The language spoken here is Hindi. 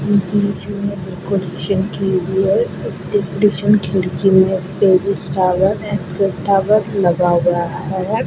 बीच में डेकोरेशन के लिए टावर लगा हुआ है।